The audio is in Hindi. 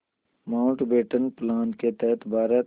माउंटबेटन प्लान के तहत भारत